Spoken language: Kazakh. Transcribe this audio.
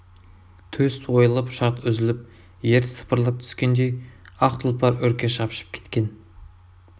төс ойылып шарт үзіліп ер сыпырылып түскендей ақ тұлпар үрке шапшып кеткен